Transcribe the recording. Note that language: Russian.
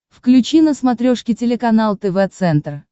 включи на смотрешке телеканал тв центр